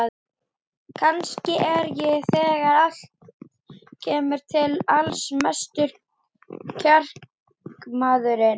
Kannski er ég þegar allt kemur til alls mestur kjarkmaðurinn.